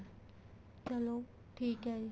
ਚਲੋਂ ਠੀਕ ਏ ਜੀ